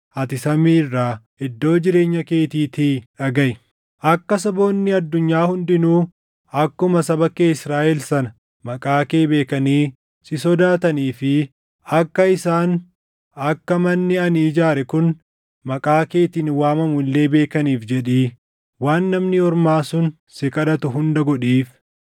ati samii irraa, iddoo jireenya keetiitii dhagaʼi. Akka saboonni addunyaa hundinuu akkuma saba kee Israaʼel sana maqaa kee beekanii si sodaatanii fi akka isaan akka manni ani ijaare kun maqaa keetiin waamamu illee beekaniif jedhii waan namni ormaa sun si kadhatu hunda godhiif.